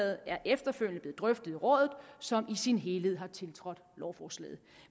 er efterfølgende blev drøftet i rådet som i sin helhed har tiltrådt lovforslaget